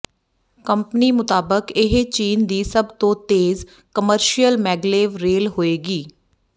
company ਮੁਤਾਬਕ ਇਹ ਚੀਨ ਦੀ ਸਭ ਤੋਂ ਤੇਜ਼ ਕਮਰਸ਼ੀਅਲ ਮੈਗਲੇਵ ਰੇਲ ਹੋਏਗੀ